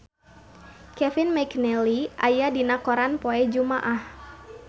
Kevin McNally aya dina koran poe Jumaah